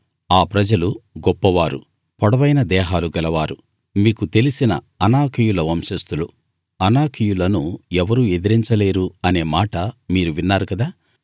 ఆ ప్రజలు గొప్పవారు పొడవైన దేహాలు గలవారు మీకు తెలిసిన అనాకీయుల వంశస్థులు అనాకీయులను ఎవరూ ఎదిరించలేరు అనే మాట మీరు విన్నారు కదా